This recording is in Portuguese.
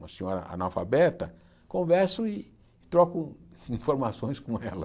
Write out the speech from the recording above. uma senhora analfabeta, converso e troco informações com ela.